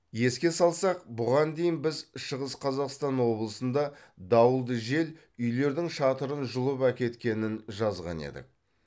еске салсақ бұған дейін біз шығыс қазақстан облысында дауылды жел үйлердің шатырын жұлып әкеткенін жазған едік